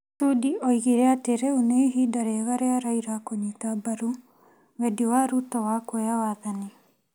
Sudi oigire atĩ rĩu nĩ ihinda rĩega rĩa Raila kũnyita mbaru wendi wa Ruto wa kuoya wathani.